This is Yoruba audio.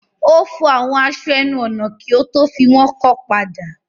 Ó fọ àwọn aṣọ ẹnu-ọ̀nà kí ó tó fi wọ́n kọ́ padà.